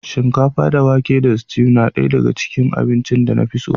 Shinkafa da wake tare da stew na ɗaya daga cikin abincin da na fi so